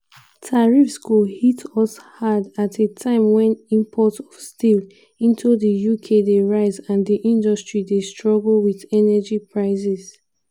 tariffs go "hit us hard" at a time wen imports of steel into di uk dey rise and di industry dey "struggle" wit energy prices.